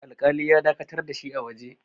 alƙali ya dakatar da shi a waje